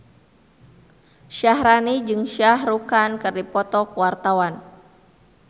Syaharani jeung Shah Rukh Khan keur dipoto ku wartawan